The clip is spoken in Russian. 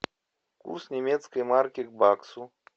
курс немецкой марки к баксу